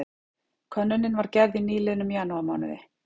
Könnunin var gerð í nýliðnum janúarmánuði